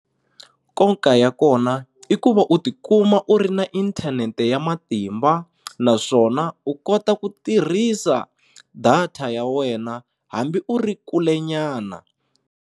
Nkoka ya kona i ku va u tikuma u ri na inthanete ya matimba naswona u kota ku tirhisa data ya wena hambi u ri kule nyana.